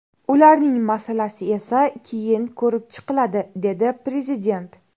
Ularning masalasi esa keyin ko‘rib chiqiladi”, – dedi Prezident.